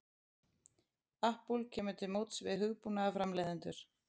Apple kemur til móts við hugbúnaðarframleiðendur